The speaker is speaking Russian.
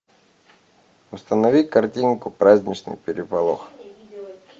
установи картинку праздничный переполох